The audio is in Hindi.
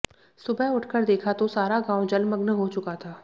सुबह उठकर देखा तो सारा गावं जलमग्न हो चुका था